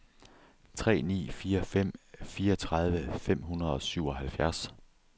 tre ni fire fem fireogtredive fem hundrede og syvoghalvfjerds